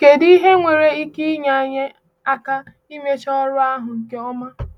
Kèdụ ihe nwere ike inyé anyị aka imecha ọrụ ahụ nke ọma?